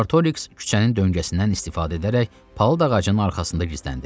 Artorix küçənin döngəsindən istifadə edərək palıd ağacının arxasında gizləndi.